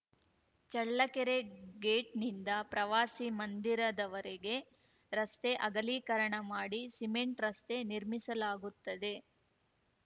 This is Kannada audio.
ಚಳ್ಳಕೆರೆ ಗೇಟ್‌ನಿಂದ ಪ್ರವಾಸಿ ಮಂದಿರದವರೆಗೆ ರಸ್ತೆಅಗಲೀಕರಣ ಮಾಡಿ ಸಿಮೆಂಟ್‌ ರಸ್ತೆ ನಿರ್ಮಿಸಲಾಗುತ್ತದೆ